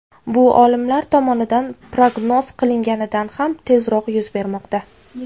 Bu olimlar tomonidan prognoz qilinganidan ham tezroq yuz bermoqda.